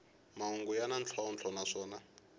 mahungu ya na ntlhontlho naswona